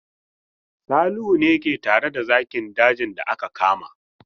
Salihu ne ke tare da zakin dajin da aka kama.